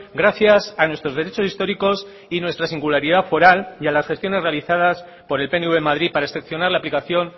gracias a nuestros derechos históricos y nuestra singularidad foral y a las gestiones realizadas por el pnv en madrid para excepcionar la aplicación